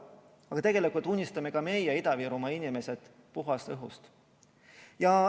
Aga tegelikult unistame ka meie, Ida-Virumaa inimesed, puhtast õhust.